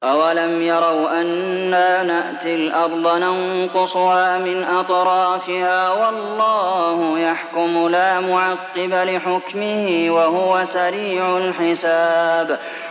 أَوَلَمْ يَرَوْا أَنَّا نَأْتِي الْأَرْضَ نَنقُصُهَا مِنْ أَطْرَافِهَا ۚ وَاللَّهُ يَحْكُمُ لَا مُعَقِّبَ لِحُكْمِهِ ۚ وَهُوَ سَرِيعُ الْحِسَابِ